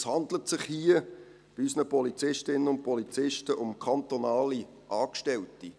Es handelt sich hier, bei unseren Polizistinnen und Polizisten, um kantonale Angestellte.